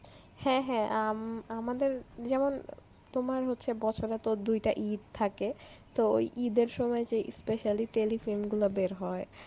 হ্যাঁ হ্যাঁ আম~ আমাদের যেমন তোমার হচ্ছে বছরে তো দুইটা ঈদ সাথে তো ওই ঈদের সময় যেই specially telefilm গুলা বের হয়